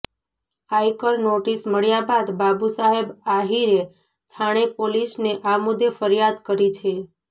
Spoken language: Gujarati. આયકર નોટિસ મળ્યા બાદ બાબુસાહેબ આહિરે ઠાણે પોલીસને આ મુદ્દે ફરિયાદ કરી છે